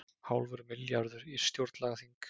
Hálfur milljarður í stjórnlagaþing